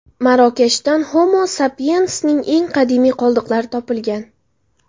Marokashdan Homo Sapiens’ning eng qadimiy qoldiqlari topilgan.